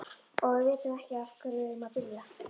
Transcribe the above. Og við vitum ekki á hverju við eigum að byrja.